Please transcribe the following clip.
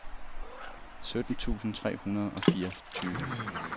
sytten tusind tre hundrede og fireogtyve